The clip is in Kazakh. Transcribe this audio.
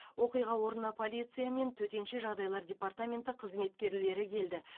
оқиға орнына полиция мен төтенше жағдайлар департаменті қызметкерлері келді